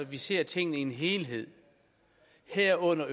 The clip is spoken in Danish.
vi ser tingene i en helhed herunder